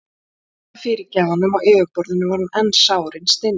Þó að Edda fyrirgæfi honum á yfirborðinu var hún enn sár innst inni.